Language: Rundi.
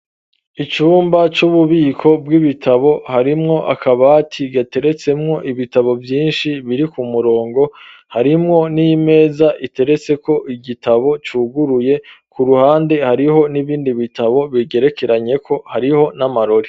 Icumba c'ububiko bw'ibitabo harimwo akabati gateretsemwo ibitabo vyinshi biri ku murongo harimwo n'imeza iteretseko igitabo cuguruye ku ruhande hariho n'ibindi bitabo bigerekeranyeko hariho n'amarori.